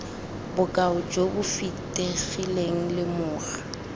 bokao jo bo fitlhegileng lemoga